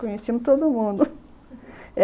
Conhecíamos todo mundo.